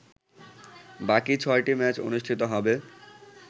বাকি ছয়টি ম্যাচ অনুষ্ঠিত হবে